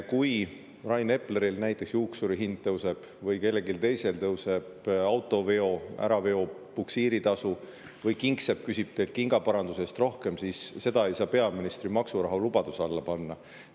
Kui Rain Epleril näiteks juuksurihind tõuseb või kellelgi teisel tõuseb auto äraveol puksiiritasu või kingsepp küsib teilt kingaparanduse eest rohkem, siis seda ei saa peaministri maksurahulubaduse alla panna.